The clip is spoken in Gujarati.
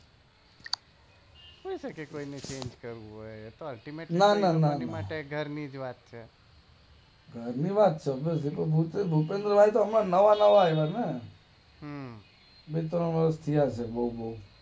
હોઈ શકે કોઈ ને ચેન્જ કરવું હોઈ તો ના ના ના ગેરનીતિ એમની માટે ઘર ની જ વાત છે ઘર ની વાત છે ભૂપે ભૂપે ભૂપેન્દ્રભાઈ તો હમણાં નવા નવા આવા ને?